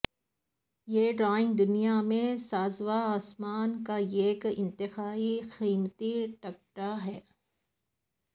یہ ڈائیونگ دنیا میں سازوسامان کا ایک انتہائی قیمتی ٹکڑا ہے